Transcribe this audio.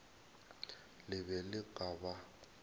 le be le ka ba